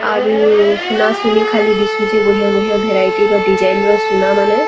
ଆରୁ ସୁନାସୁନୀ ଖାଲି ଦିଶୁଛେ ବଢିଆ ବଢିଆ ଭେରାଇଟୀର ଡିଜାଇନ୍‌ ର ସୁନାମାନେ।